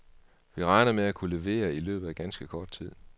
Vi regner med at kunne levere i løbet af ganske kort tid.